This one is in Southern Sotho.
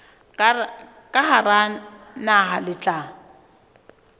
ka hara naha le tla